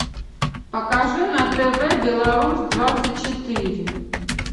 покажи на тв беларусь двадцать четыре